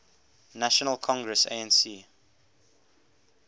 national congress anc